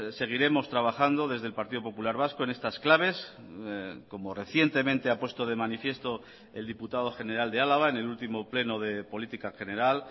seguiremos trabajando desde el partido popular vasco en estas claves como recientemente ha puesto de manifiesto el diputado general de álava en el último pleno de política general